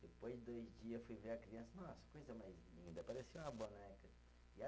Depois de dois dias eu fui ver a criança, nossa, coisa mais linda, parecia uma boneca.